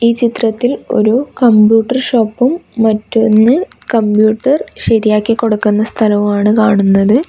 ഈ ചിത്രത്തിൽ ഒരു കമ്പ്യൂട്ടർ ഷോപ്പും മറ്റൊന്ന് കമ്പ്യൂട്ടർ ശരിയാക്കി കൊടുക്കുന്ന സ്ഥലവുമാണ് കാണുന്നത്.